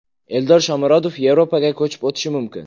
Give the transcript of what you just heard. Eldor Shomurodov Yevropaga ko‘chib o‘tishi mumkin.